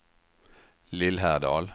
Lillhärdal